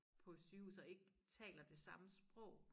På sygehuset og ikke taler det samme sprog